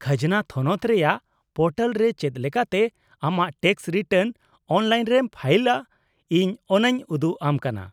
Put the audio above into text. -ᱠᱷᱟᱡᱽᱱᱟ ᱛᱷᱚᱱᱚᱛ ᱨᱮᱭᱟᱜ ᱯᱳᱨᱴᱟᱞ ᱨᱮ ᱪᱮᱫ ᱞᱮᱠᱟᱛᱮ ᱟᱢᱟᱜ ᱴᱮᱠᱥ ᱨᱤᱴᱟᱨᱱ ᱚᱱᱞᱟᱭᱤᱱ ᱨᱮᱢ ᱯᱷᱟᱭᱤᱞᱟ ᱤᱧ ᱚᱱᱟᱧ ᱩᱫᱩᱜ ᱟᱢ ᱠᱟᱱᱟ ᱾